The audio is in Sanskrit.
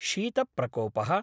शीतप्रकोपः